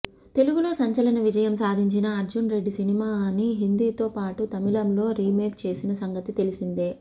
తెలుగులో సంచలన విజయం సాధించిన అర్జున్ రెడ్డి సినిమాని హిందీతో పాటు తమిళంలో రీమేక్ చేసిన సంగతి తెలిసిందే